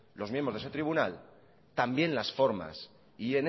los miembros de ese tribunal también las formas y